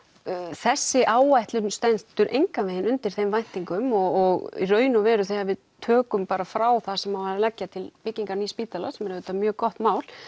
þessi áætlun stendur engan vegin undir þeim væntingum og í raun og veru þegar við tökum frá það sem á að leggja til byggingar nýs spítala sem er auðvitað mjög gott mál